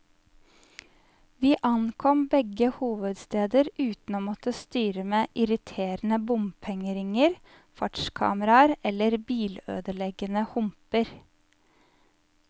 Vi ankom begge hovedsteder uten å måtte styre med irriterende bompengeringer, fartskameraer eller bilødeleggende humper.